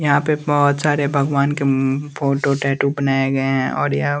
यहां पे बहोत सारे भगवान के मम् फोटो टैटू बनाया गया है और यह--